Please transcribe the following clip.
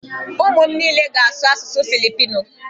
Ụmụ m niile ga-asụ asụsụ Filipino.